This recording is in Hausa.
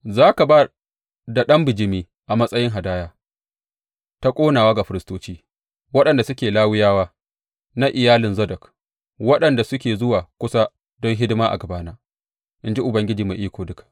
Za ka ba da ɗan bijimi a matsayin hadaya ta ƙonawa ga firistoci, waɗanda suke Lawiyawa, na iyalin Zadok, waɗanda suke zuwa kusa don hidima a gabana, in ji Ubangiji Mai Iko Duka.